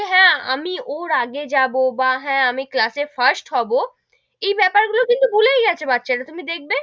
হেঁ, আমি ওর আগে যাবো বা হেঁ, আমি class এ first হবো, এই বেপার গুলো কিন্তু ভুলেই গেছে বাচ্চা রা, তুমি দেখবে,